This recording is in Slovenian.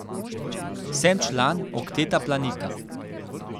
Sem član okteta Planika.